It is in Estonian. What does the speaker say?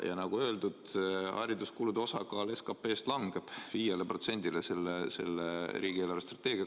Ja nagu öeldud, hariduskulude osakaal SKP-st langeb selle eelarvestrateegiaga 5%-le.